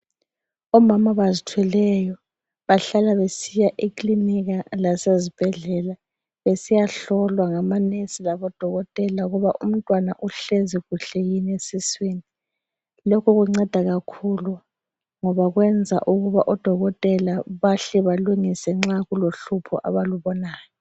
Omama abazithweleyo bahlala besiya eklinika lasezibhedlela besiyahlolwa ngamanesi labo Dokotela ukuba umtwana uhlezi kuhle yini esiswini lokhu kunceda kakhulu ngoba kwenza ukuba odokotela bahle balungise nxa kulohlupho abalubonayo